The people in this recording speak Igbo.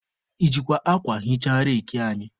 I jikwa akwa hichaa reki anyị?